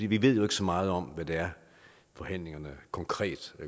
vi ved jo ikke så meget om hvad det er forhandlingerne konkret